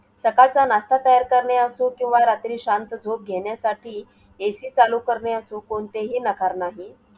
सकाळचा नाष्टा तयार करणे असो किंवा रात्री शांत झोप घेण्यासाठी AC चालू करणे असो, कोणतेही नकार नाही.